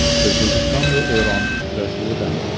O‘zbekiston va Eron uchrashuvidan.